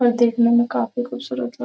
और देखने में काफी खूबसूरत लग --